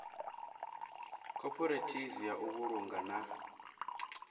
khophorethivi ya u vhulunga na